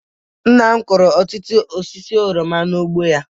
Nna m kụrụ ọtụtụ osisi oroma n'ugbo ya